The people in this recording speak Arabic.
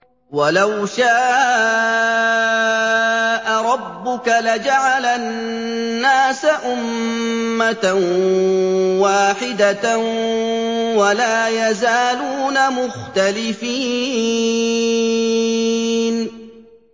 وَلَوْ شَاءَ رَبُّكَ لَجَعَلَ النَّاسَ أُمَّةً وَاحِدَةً ۖ وَلَا يَزَالُونَ مُخْتَلِفِينَ